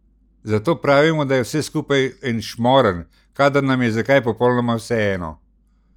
Zato pravimo, da je vse skupaj en šmorn, kadar nam je za kaj popolnoma vseeno.